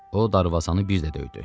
O darvazanı bir də döydü.